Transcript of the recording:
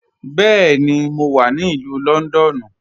Bẹẹni, mo wà ni Ilù Lọ́ndọ́nù.